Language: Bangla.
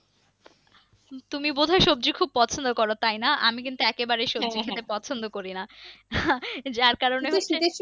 তুমি বোধহয় সবজি খুব পছন্দ করো তাই না আমি কিন্তু একে বারেই পছন্দ করি না যার কারণে